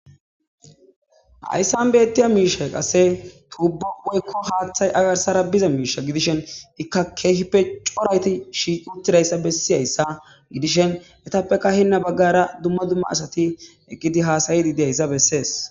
Haysan betiya mishay qase tubo woyko hathey a garsara misha gidishn ika kehipe coraati shiiqi utidays besizaysa gidishe etape hen bagara dumma dumma asati eqidi hasayidi dizaysa bses